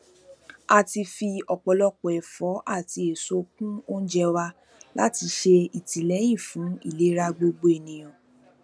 a ti fi ọpọlọpọ ẹfọ àti èso kún oúnjẹ wa láti ṣe ìtìlẹyìn fún ìlera gbogbo ènìyàn